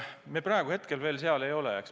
Me praegu veel sealmaal ei ole.